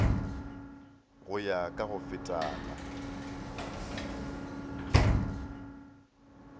go ya ka go fetana